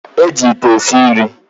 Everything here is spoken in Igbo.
E ji ite esi nri